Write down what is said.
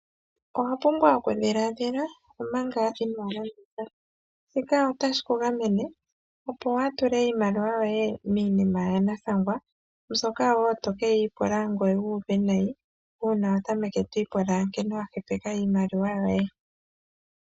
Owapumbwa okudhilaadhila omanga inoolanda sha, shika otashi ku gamene opo waatule iimaliwa yoye miinima yanathangwa mbyoka woo tokeeyi pula ngweye wuuve nayi uuna watameke twiipula nkene wahepeka iimaliwa yoye.